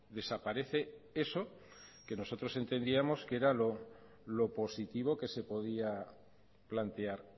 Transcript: desaparece eso que nosotros entendíamos que era lo positivo que se podía plantear